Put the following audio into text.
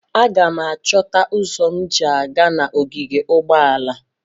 Aga m achọta ụzọ m ji aga n'ogige ụgbọala.